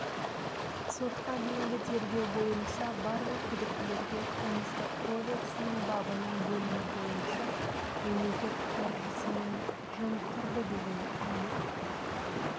сотқа дейінгі тергеу бойынша барлық күдіктілерге қылмыстық кодексінің бабының бөлімі бойынша мемлекет қаржысын жымқырды деген айып